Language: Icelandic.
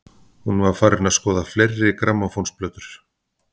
Hún var farin að skoða fleiri grammófónplötur.